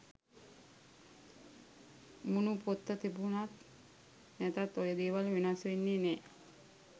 මූනු පොත තිබුනත් නැතත් ඔය දේවල් වෙනස් වෙන්නේ නැහැ.